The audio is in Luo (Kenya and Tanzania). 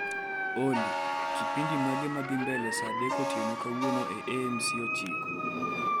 Olly, kipindi mage madhii mbele saa dek otino kawuono e A. M. C ochiko